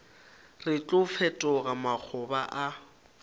re tlo fetoga makgoba a